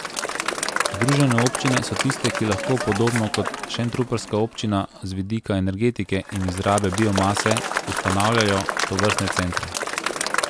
Združene občine so tiste, ki lahko podobno kot šentrupertska občina z vidika energetike in izrabe biomase ustanavljajo tovrstne centre.